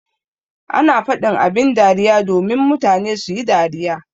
Ana faɗin abin dariya domin mutane suyi dariya.